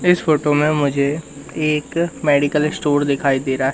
इस फोटो में मुझे एक मेडिकल स्टोर दिखाई दे रहा है।